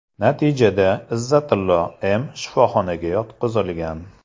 Natijada Izzatilo M. shifoxonaga yotqizilgan.